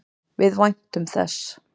Við væntum þess.